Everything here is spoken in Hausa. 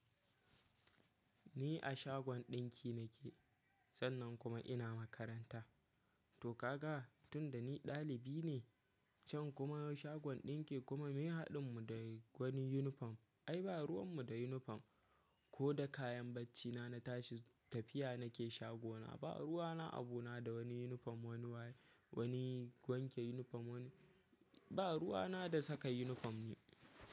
Ni a shagon ɗinki nake sannan kuma ina makaranta. To ka ga tun da ni ɗalibi ne, can kuma shagon ɗinki kuma, mai haɗin mu da wani yunifom. Ai ba ruwan mu da yunifom, ko da kayan bacci na na tashi tafiya nake shago na. Ba ruwa na abu na da wani yunifom wani waye wani wanke yunifom wani ba ruwa na da saka yunifom ni.